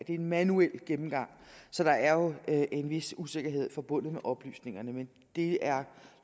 en manuel gennemgang så der er jo en vis usikkerhed forbundet med oplysningerne men det er